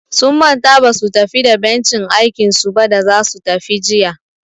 Sun manta basu tafi da bencin aikinsu ba da zasu tafi jiya.